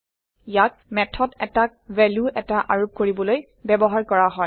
ইয়াক মেথড এটাক ভেলু এটা আৰোপ কৰিবলৈ ব্যৱহাৰ কৰা হয়